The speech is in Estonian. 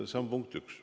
See on punkt üks.